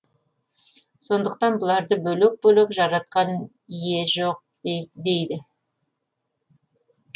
сондықтан бұларды бөлек бөлек жаратқан ие жоқ дейді